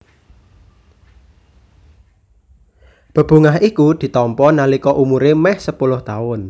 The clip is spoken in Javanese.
Bebungah iku ditampa nalika umuré mèh sepuluh taun